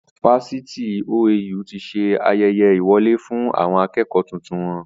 Fásitì OAU tí ṣe ayẹyẹ ìwọlé fún àwọn akẹ́kọ̀ tuntun wọn.